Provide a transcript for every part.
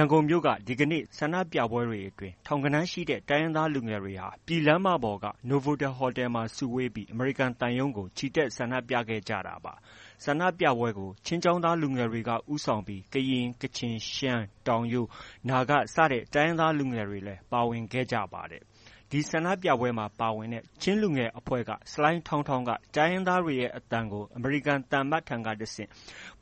န်ကုန်မြို့က ဒီကနေ့ ဆန္ဒပြပွဲတွေအတွင်း ထောင်ဂဏန်းရှိတဲ့ တိုင်းရင်းသားလူငယ်တွေ ပြည်လမ်းမပေါ်က နိုဗိုတယ်လ်ဟိုတယ်မှာ စုဝေးပြီး အမေရိကန်သံရုံးကို ချီတက်ဆန္ဒပြခဲ့ကြတာပါ။ ဆန္ဒပြပွဲကို ချင်းကျောင်းသားလူငယ်တွေက ဦးဆောင်ခဲ့ပြီး ကရင်၊ ကချင်၊ ရှမ်း၊ တောင်ရိုး၊နာဂစတဲ့ တိုင်းရင်းသားတွေလည်း စုပေါင်းပါဝင်ခဲ့ကြပါတယ်။ ဒီဆန္ဒပြပွဲမှာ ပါဝင်ခဲ့တဲ့ ချင်း လူငယ်အဖွဲ့က ဆလိုင်းထောင်းထောင်းက တိုင်းရင်းသားတွေရဲ့ အသံကို အမေရိကန်သံအမတ်ထံကတဆင့်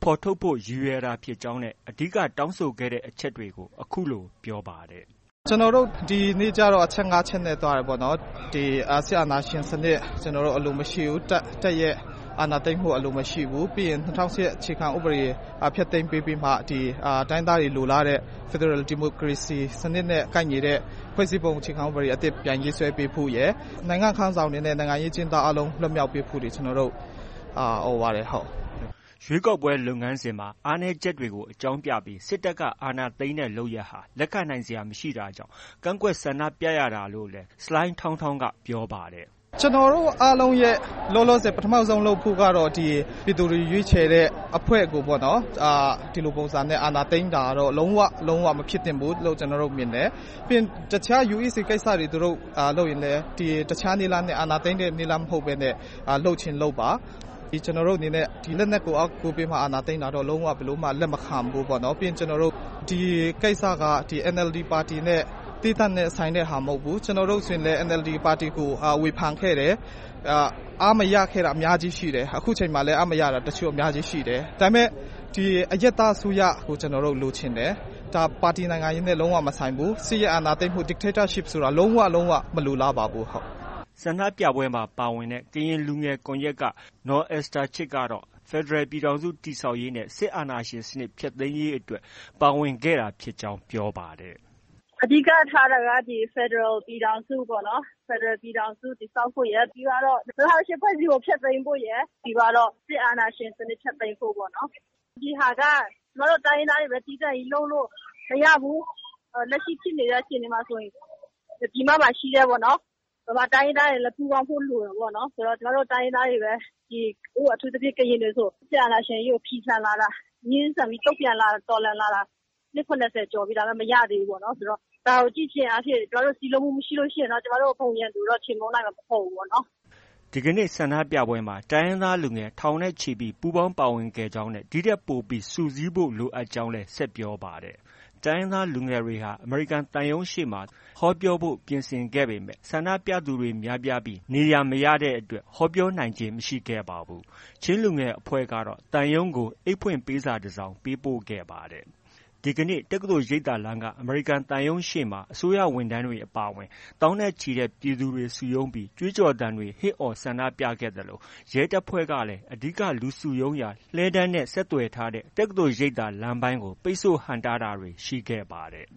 ဖော်ထုတ်ဖို့ ရည်ရွယ်တာဖြစ်ကြောင်းနဲ့ အဓိက တောင်းဆိုခဲ့တဲ့ အချက်တွေကို အခုလို ပြောပါတယ်။ “ကျနော်တို့ ဒီနေ့ကျတော့ အချက် ၅ ချက်နဲ့ သွားတယ်ပေါ့နော်။ စစ်အာဏာရှင်စနစ် ကျနော်တို့ အလိုမရှိဘူး။ တပ်ရဲ့ အာဏာသိမ်းမှု အလိုမရှိဘူး။ ပြီးရင် ၂၀၀၈ ခုနှစ်အခြေခံဥပဒေဖျက်သိမ်းပေးပြီးမှ ဒီ တိုင်းရင်းသားတွေ လိုလားတဲ့ ဖက်ဒရယ်ဒီမိုကရေစီစနစ်နဲ့ ကိုက်ညီတဲ့ ဖွဲ့စည်းပုံအခြေခံဥပဒေအသစ်ပြန်ရေးဆွဲပေးဖို့ရယ်။ နိုင်ငံခေါင်းဆောင်တွေနဲ့ နိုင်ငံရေးအကျဉ်းသားတွေ လွတ်မြောက်ပေးဖို့တွေ ကျနော်တို့ အော်ပါတယ်။” ရွေးကောက်ပွဲ လုပ်ငန်းစဉ်မှာ အားနည်းချက်တွေကို အကြောင်းပြပြီး စစ်တပ်က အာဏာသိမ်းတဲ့ လုပ်ရပ်ဟာ လက်ခံနိုင်စရာ မရှိတာကြောင့် ကန့်ကွက်ဆန္ဒပြရတာလို့လည်း ဆလိုင်းထောင်းထောင်းက ပြောပါတယ်။ “ကျနော်တို့အားလုံးရဲ့ လောလောဆယ် ပထမဆုံးလုပ်ဖို့ကတော့ ဒီ ပြည်သူတွေ ရွေးချယ်တဲ့အဖွဲ့ကိုပေါ့နော်... ဒီလိုပုံစံနဲ့ အာဏာသိမ်းတာကတော့ လုံးဝ ကို မဖြစ်သင့်ဘူးလို့ ကျနော်တို့ မြင်တယ်။ ပြီးရင် တစ်ခြား UEC ကိစ္စတွေ သူတို့ လုပ်ရင်လည်း တစ်ခြားနည်းလမ်းနဲ့ အာဏာသိမ်းတဲ့နည်းလမ်းမဟုတ်ဘဲ လုပ်ချင်လုပ်ပါ။ ကျနော်တို့အနေနဲ့ လက်နက်ကိုအားကိုးပြီးမှ အာဏာသိမ်းတာကတော့ လုံးဝကို လက်မခံဘူးပေါ့နော်။ ပြီးရင် ဒီကိစ္စက NLD ပါတီနဲ့ သီးသန့်နဲ့ ဆိုင်တဲ့ဟာ မဟုတ်ဘူး။ ကျနော်တို့ ဆိုရင်လည်း NLD ပါတီကို ဝေဖန်ခဲ့တယ်။ အားမရခဲ့တာအများကြီးရှိတယ်။ အခုအချိန်မှာလည်း အားမရတာ တချို့ ရှိတယ်။ ဒါပေမဲ့ ဒီ အရပ်သားအစိုးရကို ကျနော်တို့ လိုချင်တယ်။ ဒါ ပါတီနိုင်ငံရေးနဲ့ လုံးဝမဆိုင်ဘူး။ စစ်အာဏာရှင်စနစ် Dictatorship ဆိုတာ လုံးဝ မလိုလားပါဘူး။” ဆန္ဒပြပွဲမှာ ပါဝင်ခဲ့တဲ့ ကရင်လူငယ်ကွန်ရက်က နော်အက်စ်တာချစ်ကတော့ ဖက်ဒရယ်ပြည်ထောင်စု တည်ဆောက်ရေးနဲ့ စစ်အာဏာရှင်စနစ် ဖျက်သိမ်းရေးအတွက် ပါဝင်ခဲ့တာဖြစ်ကြောင်း ပြောပါတယ်။ “အဓိက ထားတာက ဖက်ဒရယ်ပြည်ထောင်စုပေါ့နော်။ ဖက်ဒရယ်ပြည်ထောင်စုတည်ဆောက်ဖို့ရယ် ပြီးသွားတော့ ၂၀၀၈ ဖွဲ့စည်းပုံ ဖျက်သိမ်းဖို့ရယ်။ ပြီးသွားတော့ စစ်အာဏာရှင်စနစ် ဖျက်သိမ်းဖို့ ပေါ့နော်။ ဒီဟာက ကျမတို့ တိုင်းရင်းသားတွေချည်း သီးသန့်ကြီးလုပ်လို့ မရဘူး။ လက်ရှိဖြစ်နေတဲ့ အခြေအနေမှာဆိုရင် ပြည်မမှာရှိတဲ့ ဗမာတိုင်းရင်းသားတွေ လည်း ပူးပေါင်းဖို့ လိုတယ်ပေါ့နော်။ ကျမတို့ တိုင်းရင်းသားတွေ အထူးသဖြင့် ကရင်တွေဆို စစ်အာဏာရှင်ကြီးကို ဖီဆန်လာတာ ငြင်းဆန်ပြီး တုံ့ပြန်လာတာ နှစ် ၇၀ကျော်ပြီ မရသေးဘူးဆိုတော့ ဒါကို ကြည့်ခြင်းအားဖြင့် ကျမတို့ စည်းလုံးမှုမရှိရင်တော့ ကျမတို့ ဘုံရန်သူကိုတော့ ကျမတို့ ချေမှုန်းနိုင်မှာ မဟုတ်ဘူးပေါ့နော်။” ဒီကနေ့ ဆန္ဒပြပွဲမှာ တိုင်းရင်းသားလူငယ် ထောင်နဲ့ချီ ပူးပေါင်းပါဝင်ခဲ့ကြောင်းနဲ့ ဒီထက်ပိုပြီး စုစည်းဖို့ လိုအပ်နေကြောင်းလည်း ဆက်ပြောပါတယ်။ တိုင်းရင်းသားလူငယ်တွေဟာ အမေရိကန်သံရုံးရှေ့မှာ သူတို့ဟောပြောဖို့ ပြင်ဆင်ခဲ့ပေမဲ့ ဆန္ဒပြသူတွေများပြားပြီး နေရာ မရတဲ့အတွက် ဟောပြောနိုင်ခြင်း မရှိခဲ့ပါဘူး။ ချင်းလူငယ်အဖွဲ့က သံရုံးကို အိတ်ဖွင့်ပေးစာတစ်စောင်ပေးခဲ့ကြပါတယ်။ ဒီကနေ့ တက္ကသိုလ်ရိပ်သာလမ်းက အမေရိကန်သံရုံးရှေ့မှာမှာ အစိုးရဝန်ထမ်းတွေအပါအဝင် သောင်းနဲ့ချီတဲ့ပြည်သူတွေစုရုံးပြီး ကြွေးကြော်သံတွေ ဟစ်အော်ဆန္ဒပြခဲ့သလို ရဲတပ်ဖွဲ့ကလည်း အဓိက လူစုရုံးရာ လှည်းတန်းနဲ့ ဆက်သွယ်ထားတဲ့ တက္ကသိုလ်ရိပ်သာလမ်းပိုင်းကို ပိတ်ဆို့ဟန့်တားတာတွေ ရှိခဲ့ပါတယ်